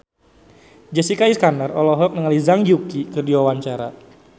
Jessica Iskandar olohok ningali Zhang Yuqi keur diwawancara